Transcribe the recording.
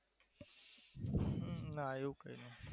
ના એવું તો